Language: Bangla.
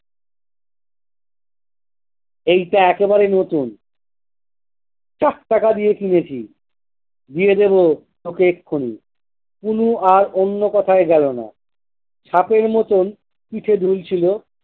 এইটা একেবারে নতুন। চার টাকা দিয়ে কিনেছি। দিয়ে দেব তোকে এক্ষুনি। কুনি আর অন্য কথায় গেলো না, সাপের মতোন পিঠে দুলছিলো